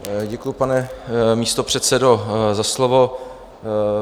Děkuji, pane místopředsedo, za slovo.